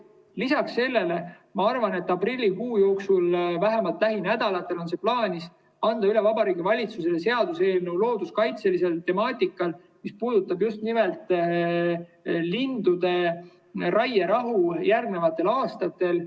Lisaks sellele, aprillikuu jooksul või vähemalt lähinädalatel on plaanis anda Vabariigi Valitsusele üle seaduseelnõu looduskaitselisel teemal, mis puudutab just nimelt lindude raierahu järgnevatel aastatel.